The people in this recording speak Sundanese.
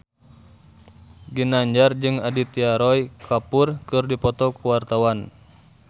Ginanjar jeung Aditya Roy Kapoor keur dipoto ku wartawan